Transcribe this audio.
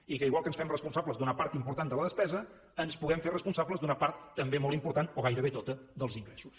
i que igual que ens fem responsables d’una part important de la despesa ens puguem fer responsables d’una part també molt important o gairebé tota dels ingressos